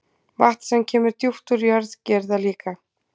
Vatn sem kemur djúpt úr jörð gerir það líka.